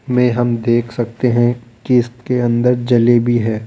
में हम देख सकते हैं कि इसके अंदर जलेबी है।